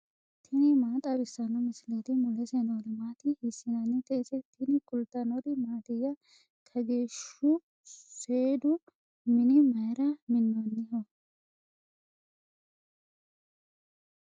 tini maa xawissanno misileeti ? mulese noori maati ? hiissinannite ise ? tini kultannori mattiya? Kageehu seedu minni mayiira minonniho?